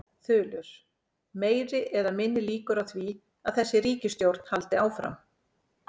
Þulur: Meiri eða minni líkur á því að þessi ríkisstjórn haldi áfram?